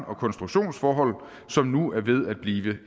og konstruktionsforhold som nu er ved at blive